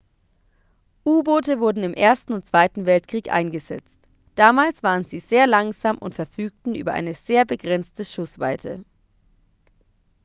u-boote wurden im ersten und zweiten weltkrieg eingesetzt damals waren sie sehr langsam und verfügten über eine sehr begrenzte schussweite